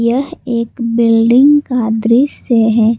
यह एक बिल्डिंग का दृश्य है।